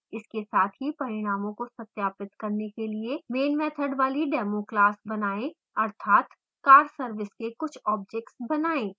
इसके साथ ही परिणामों को सत्यापित करने के लिए main मैथड वाली demo class बनाएँ अर्थातcarservice के कुछ ऑब्जेक्ट्स बनाएँ